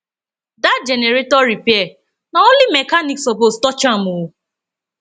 dat generator repair na only mechanic suppose touch am o